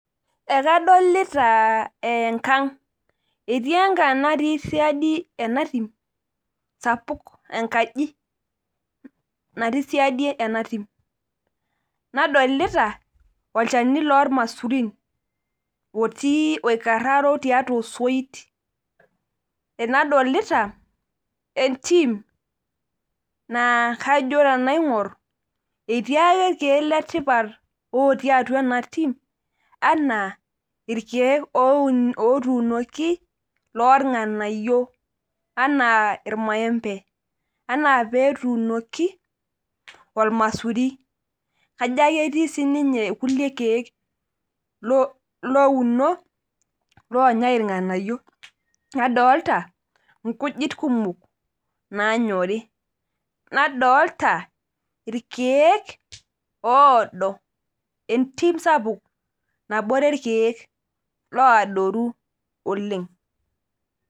Ekadolita enkang, etii enkang natii siadi ena tim sapuk enkaji, natii siadi ena tim. nadolita olchani loormasurin otii, oikararo tiatua osoit, naadolita entim naa kajo tenaingor etii ake ilkeek le tipat otii atua ena tim ,anaa irkeek otuunoki loornganayio. anaa irmaembe. anaa peetuunoki, olmasuri. kajo ake etii sii ninye kulie keeku, louno, loonyae ilnganayio. nadota inkujit kumok. naanyori. nadoolta irkeek oodo. entim sapuk, nabore irkeek looadoru oleng.